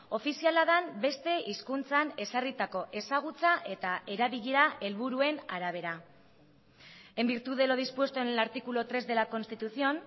ofiziala den beste hizkuntzan ezarritako ezagutza eta erabilera helburuen arabera en virtud de lo dispuesto en el artículo tres de la constitución